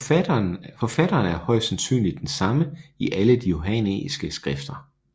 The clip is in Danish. Forfatteren er højst sandsynligt den samme i alle de johannæiske skrifter